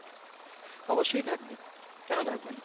অবশ্যই থাকবে কেনো থাকবে নাহ ।